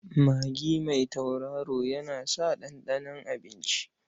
Magi mai tauraro yana sa ɗanɗanon abinci.